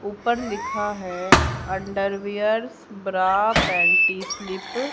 ऊपर लिखा है अंडरवियर्स ब्रा पेंटी स्लिप --